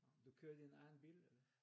Du kører i din egen bil?